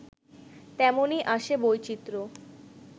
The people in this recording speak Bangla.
তেমনই আসে বৈচিত্র্য